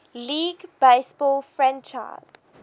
league baseball franchise